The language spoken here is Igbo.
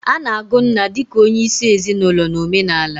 Ana-agụ nna di ka onyeisi ezinaulo na omenala.